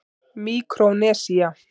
Míkrónesía